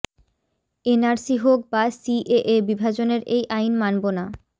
NRC হোক বা CAA বিভাজনের এই আইন মানব না